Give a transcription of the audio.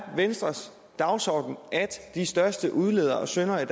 venstres dagsorden at de største udledere og syndere i